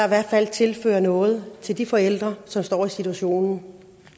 i hvert fald tilføres noget til de forældre som står i den situation